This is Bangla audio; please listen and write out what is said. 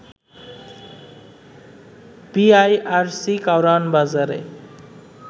বিইআরসি কারওয়ান বাজারে